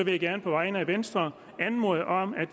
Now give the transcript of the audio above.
jeg gerne på vegne af venstre anmode om at